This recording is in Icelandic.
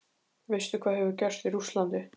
Veistu hvað hefur gerst í Rússlandi?